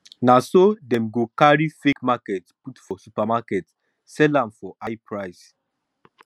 na so dem go carry fake market put for supermarket sell am for high price